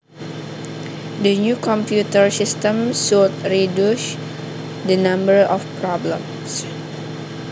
The new computer system should reduce the number of problems